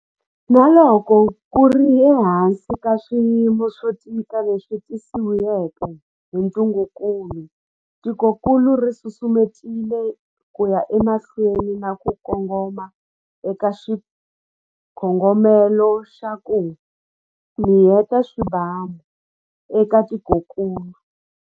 Na loko ku ri ehansi ka swiyimo swo tika leswi tisiweke hi ntungukulu, tikokulu ri susumetile ku ya emahlweni na ku kongoma eka xikongomelo xa 'ku mi yeta swibamu' eka tikokulu.